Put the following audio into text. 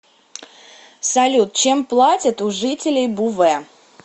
салют чем платят у жителей буве